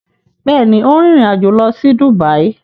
Bẹẹni, o n rin ìrìn-àjò lọ si Dubai